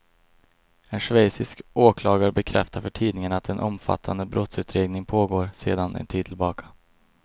En schweizisk åklagare bekräftar för tidningen att en omfattande brottsutredning pågår sedan en tid tillbaka.